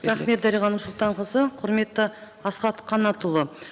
рахмет дариға нұрсұлтанқызы құрметті асхат қанатұлы